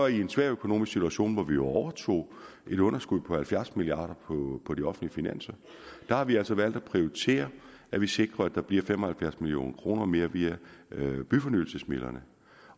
i en svær økonomisk situation hvor vi jo overtog et underskud på halvfjerds milliard kroner på de offentlige finanser har vi altså valgt at prioritere at vi sikrer at der bliver fem og halvfjerds million kroner mere via byfornyelsesmidlerne